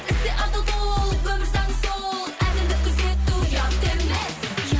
істе адал бол өмір заңы сол әділдік күзету ұят емес